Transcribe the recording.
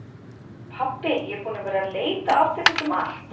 Pabbi er búinn að vera að leita að þér út um allt!